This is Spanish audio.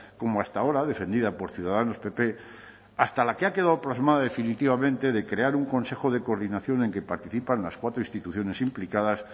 como hasta ahora defendida por ciudadanos pp hasta la que ha quedado plasmado definitivamente de crear un consejo de coordinación en que participan las cuatro instituciones implicadas